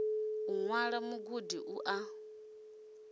u ṅwala mugudi u a